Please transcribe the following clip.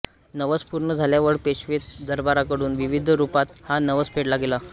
नवस पूर्ण झाल्यामुळे पेशवे दरबाराकडून विविध रूपात हा नवस फेडला गेला